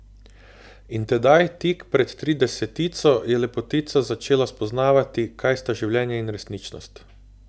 In tedaj, tik pred tridesetico, je lepotica začela spoznavati, kaj sta življenje in resničnost.